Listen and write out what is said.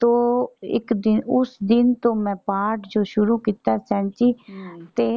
ਤੋ ਇੱਕ ਦਿਨ ਉਸ ਦਿਨ ਤੋਂ ਮੈਂ ਪਾਠ ਜੋ ਸ਼ੁਰੂ ਕੀਤਾ ਸੈਂਚੀ ਤੇ